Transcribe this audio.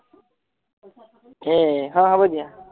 হে হ হব দিয়া